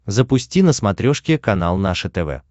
запусти на смотрешке канал наше тв